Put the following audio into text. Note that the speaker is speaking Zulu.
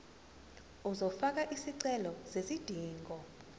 uzofaka isicelo sezidingo